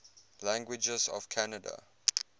languages of canada